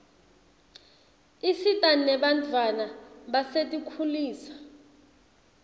isita nebantfwana basetinkhulisa